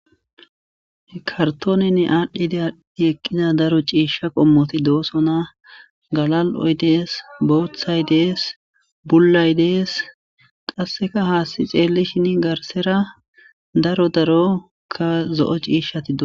kartoonenn aadhdhide eqqida daro ciisha qommoti doosona galal7oy dees booththay dees bullay dees qasseka haasti xeelli shin garsera daro darokka zo7o ciishshati do